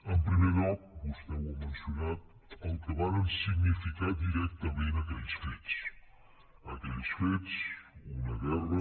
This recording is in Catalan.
en primer lloc vostè ho ha mencionat el que varen significar directament aquells fets aquells fets una guerra